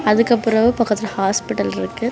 அதுக்கப்புறோ பக்கத்துல ஹாஸ்பிடல் இருக்கு.